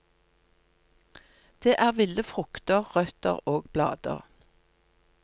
Det er ville frukter, røtter og blader.